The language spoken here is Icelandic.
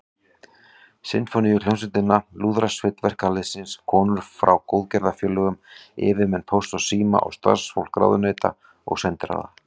Sinfóníuhljómsveitina, Lúðrasveit verkalýðsins, konur frá góðgerðarfélögum, yfirmenn Pósts og síma og starfsfólk ráðuneyta og sendiráða.